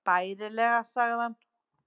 Bærilega sagði hann.